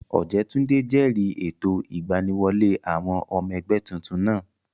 Ọ̀jẹ́túndé jẹ̀rìí ètò ìgbaniwọlé àwọn ọmọ ẹgbẹ́ tuntun náà